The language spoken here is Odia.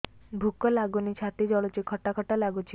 ଭୁକ ଲାଗୁନି ଛାତି ଜଳୁଛି ଖଟା ଖଟା ଲାଗୁଛି